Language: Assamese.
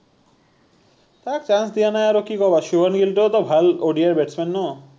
তাক chance দিয়া নাই আৰু কি কবা সুভম গিলতোও তো ভাল ODI batsman ন